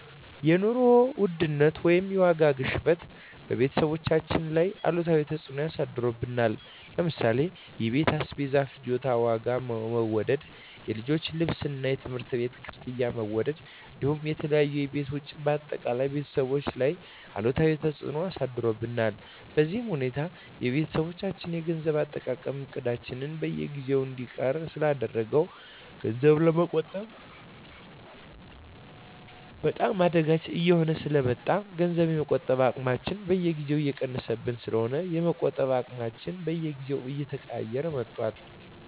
የኑሮ ውድነት ወይም የዋጋ ግሽበት በቤተሰባችን ላይ አሉታዊ ተፅዕኖ አሳድሮብናል ለምሳሌ የቤት አስቤዛ ፍጆታ ዋጋ መወደድ፣ የልጆች ልብስና የትምህርት ቤት ክፍያ መወደድ እንዲሁም የተለያዩ የቤት ወጪዎች በአጠቃላይ ቤተሰባችን ላይ አሉታዊ ተፅዕኖ አሳድሮብናል። በዚህ ሁኔታ የቤተሰባችን የገንዘብ አጠቃቀም እቅዳችንን በየጊዜው እንዲቀየር ስላደረገው ገንዘብ ለመቆጠብ በጣም አዳጋች እየሆነብን ስለ መጣ ገንዘብ የመቆጠብ አቅማችን በየጊዜው እየቀነሰብን ስለሆነ የመቆጠብ አቅማችንን በየጊዜው እየቀያየረው ነው።